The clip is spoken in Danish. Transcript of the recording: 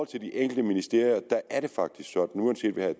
til de enkelte ministerier er det faktisk sådan uanset hvad